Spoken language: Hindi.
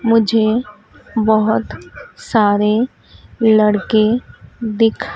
मुझे बहोत सारे लड़के दिख--